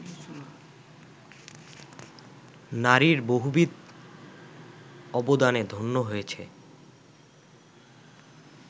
নারীর বহুবিধ অবদানে ধন্য হয়েছে